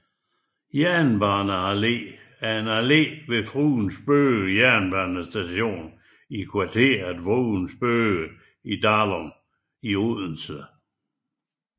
Jernbane Allé er en allé ved Fruens Bøge jernbanestation i kvarteret Fruens Bøge i Dalum i Odense